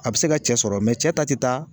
A bɛ se ka cɛ sɔrɔ, mɛ cɛ ta tɛ taa